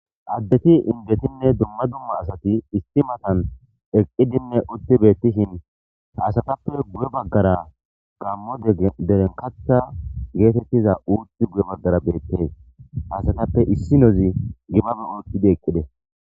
addeti indetinne duma duma asati isti matan eqqidinne utti beettishin haasatappe gu7e baggara gammo derenkata geetettiza uutti gu7e baggara beettees hasatappe issi nozi gibabe ookkidi eqqide